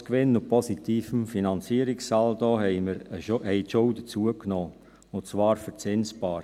Trotz Gewinn und positivem Finanzierungssaldo haben die Schulden zugenommen, und zwar verzinsbar.